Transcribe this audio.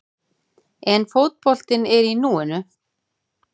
En fótboltinn er í núinu.